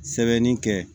Sɛbɛnni kɛ